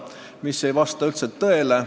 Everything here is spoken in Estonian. See ei vasta üldse tõele.